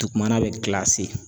Dugumana bɛ .